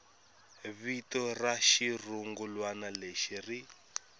vito ra xirungulwana lexi ri